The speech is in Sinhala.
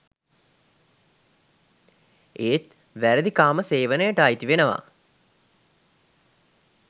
ඒත් වැරදි කාම සේවනයට අයිති වෙනවා.